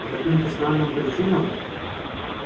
по каким-то странным причинам